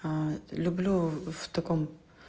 люблю в таком